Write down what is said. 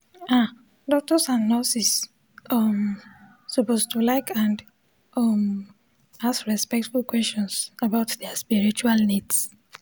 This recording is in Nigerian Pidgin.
ah doctors and nurses um suppose to like and um ask respectful questions about dia spiritual needs